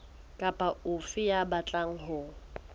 kapa ofe ya batlang ho